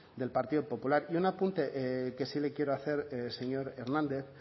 del partido popular y un apunte que sí le quiero hacer señor hernández